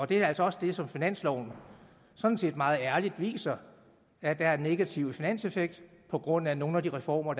det er altså også det som finansloven sådan set meget ærligt viser at der er en negativ finanseffekt på grund af nogle af de reformer